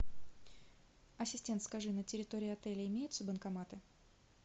ассистент скажи на территории отеля имеются банкоматы